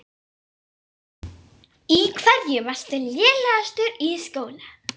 Í hverju varstu lélegastur í skóla?